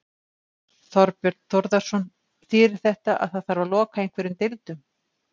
Þorbjörn Þórðarson: Þýðir þetta að það þarf að loka einhverjum deildum?